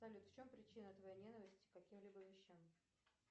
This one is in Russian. салют в чем причина твоей ненависти к каким либо вещам